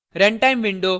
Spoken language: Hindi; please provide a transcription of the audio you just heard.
रनटाइम विंडो और